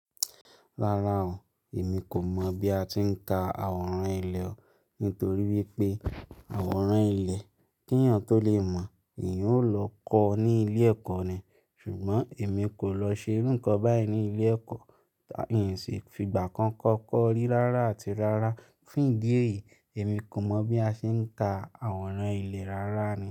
Rárá o, èmi kò mọ̀ bí a ti ń ka àwòrán ilé o. Nítorí wípé àwòrán ilé, kí ènìyàn tó lè mọ̀, èèyàn ó lọ kọ́ ọ ní ilé ẹ̀kọ́ ni. Ṣùgbọ́n èmi kò lọ ṣe irú nǹkan báyìí ní ilé ẹ̀kọ́, ìn sì fi ìgbà kan kọ́kọ́ rí rárá àti rárá. Fún ìdí èyí, èmi kò mọ̀ bí a ṣe ń ka àwòrán ilé rárá ni.